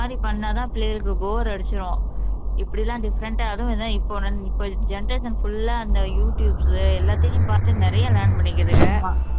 மாதிரி பண்ணா தான் பிள்ளைகளுக்கு bore அடிச்சிடும் இப்படிலாம் different ஆ அதுவும் இப்போ இப்போ generation full ஆ அந்த யு டியுப்ஸ் எல்லாத்தையும் பார்த்து நிறைய learn பண்ணிக்கிதுங்க